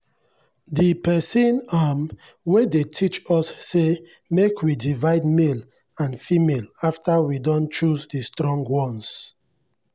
the person um wey dey teach us say make we divide male and female after we don choose the strong ones.